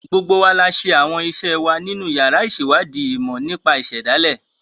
Gbogbo wa la ṣe àwọn ìṣe wa nínú yàrá ìṣèwádìí ìmọ̀ nípa ìṣẹ̀dálẹ̀.